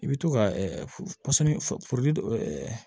I bɛ to ka